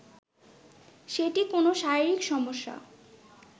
সেটি কোনো শরীরিক সমস্যা